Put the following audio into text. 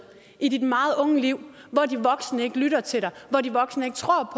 i dit meget unge liv hvor de voksne ikke lytter til dig hvor de voksne ikke tror